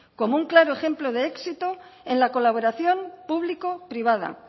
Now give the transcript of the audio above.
como un claro ejemplo de éxito en la colaboración público privada